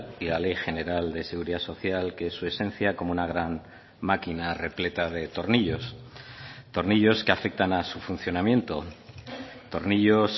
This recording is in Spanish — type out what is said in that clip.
y la ley general de seguridad social que es su esencia como una gran máquina repleta de tornillos tornillos que afectan a su funcionamiento tornillos